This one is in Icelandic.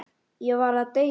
Ég var að deyja!